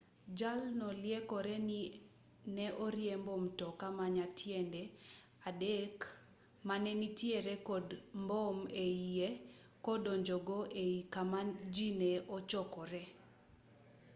jalno liekore ni ne oriembo mtoka ma nyatiende adek mane nitiere kod mbom eiye kodonjogo ei kama ji ne ochokore